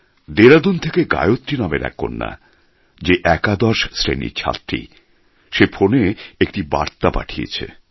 দেরাদুন থেকে গায়ত্রী নামের এক কন্যা যে একাদশ শ্রেণির ছাত্রী সে ফোনে একটি বার্তা পাঠিয়েছে